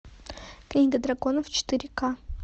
книга драконов четыре к